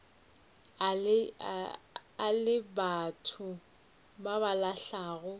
le batho ba ba lahlago